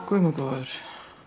guð minn góður